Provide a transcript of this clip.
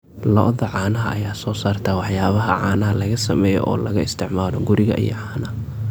Lo'da caanaha ayaa soo saarta waxyaabaha caanaha laga sameeyo oo laga isticmaalo guriga iyo caanaha.